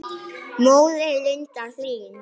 Móðir Linda Hlín.